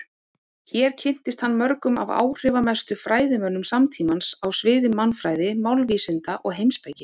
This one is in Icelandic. Hér kynntist hann mörgum af áhrifamestu fræðimönnum samtímans á sviði mannfræði, málvísinda og heimspeki.